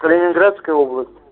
калининградская область